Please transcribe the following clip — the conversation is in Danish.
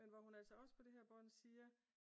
Men hvor hun altså også på det her bånd siger